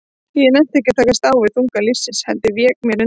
Ég nennti ekki að takast á við þunga lífsins, heldur vék mér undan.